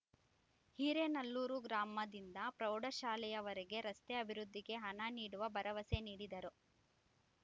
ಹಿರೇನಲ್ಲೂರು ಗ್ರಾಮದಿಂದ ಪ್ರೌಢಶಾಲೆಯವರೆಗೆ ರಸ್ತೆ ಅಭಿವೃದ್ಧಿಗೆ ಹಣ ನೀಡುವ ಭರವಸೆ ನೀಡಿದರು